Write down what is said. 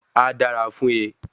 A dára fún e